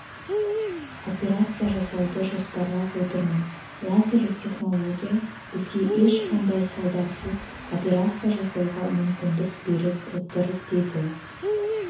операция жасауды жоспарлап отырмын лазерлік технология бізге ешқандай салдарсыз операция жасауға мүмкіндік беріп отыр деді